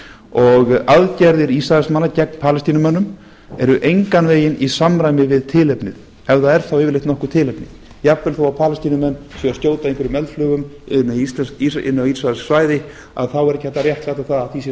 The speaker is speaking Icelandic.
og aðgerðir ísraelsmanna gegn palestínumönnum eru engan veginn í samræmi við tilefnið ef það er þá yfirleitt nokkurt tilefni jafnvel þó að palestínumenn séu að skjóta einhverjum eldflaugum inn á ísraelskt svæði þá er ekki hægt að réttlæta það að því sé